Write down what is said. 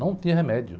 Não tinha remédio.